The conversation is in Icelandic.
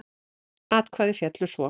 Atkvæði féllu svo